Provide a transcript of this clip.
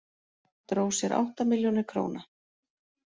Dró sér átta milljónir króna